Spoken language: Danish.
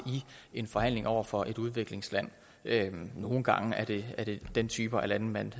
en forhandling over for et udviklingsland nogle gange er det er det den type af lande man